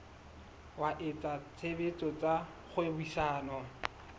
wa etsa tshebetso tsa kgwebisano